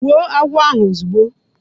Gbuo agwo ahu ozugbo